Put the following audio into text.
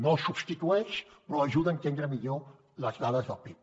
no el substitueix però ajuda a entendre millor les dades del pib